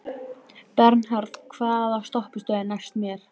Bernharð, hvaða stoppistöð er næst mér?